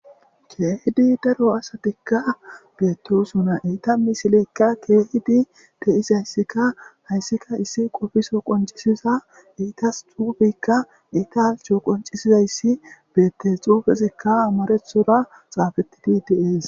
keehidi daro asatikka beettosuna eita misileykka keehidi de7izayssika hayssika issi qofiso qoncisiza iitas xuufykka italco qoncisizayssi beettes xuufesikka amarethora xaafettidi deees